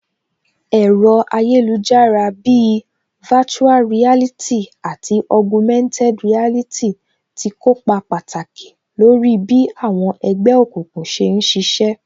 Ẹ̀rọ ayélujára bíi virtual reality àti Augumented reality tí kópa pàtàkì lórí bí àwọn ẹgbẹ́ òkùnkùn ṣe ń ṣiṣẹ́